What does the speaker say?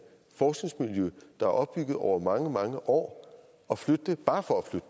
forskningsmiljø der er opbygget over mange mange år og flytte det bare for at